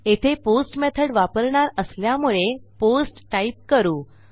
येथे post method वापरणार असल्यामुळे पोस्ट टाईप करू